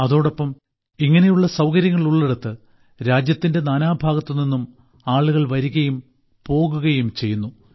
അതോടൊപ്പം ഇങ്ങനെയുള്ള സൌകര്യങ്ങൾ ഉള്ളിടത്ത് രാജ്യത്തിന്റെ നാനാഭാഗത്തുനിന്നും ആളുകൾ വരികയും പോകുകയും ചെയ്യുന്നു